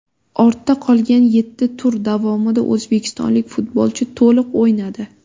Ortda qolgan yetti tur davomida o‘zbekistonlik futbolchi to‘liq o‘ynadi.